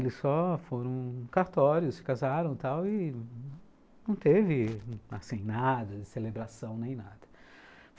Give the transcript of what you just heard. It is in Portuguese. Eles só foram cartórios, se casaram e tal, e não teve assim, nada de celebração, nem nada.